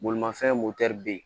Bolimafɛn motɛri bɛ yen